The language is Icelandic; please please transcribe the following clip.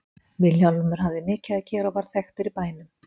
Vilhjálmur hafði mikið að gera og varð þekktur í bænum.